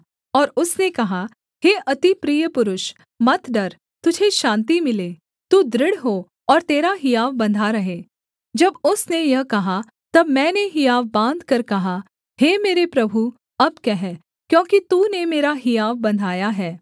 और उसने कहा हे अति प्रिय पुरुष मत डर तुझे शान्ति मिले तू दृढ़ हो और तेरा हियाव बन्धा रहे जब उसने यह कहा तब मैंने हियाव बाँधकर कहा हे मेरे प्रभु अब कह क्योंकि तूने मेरा हियाव बन्धाया है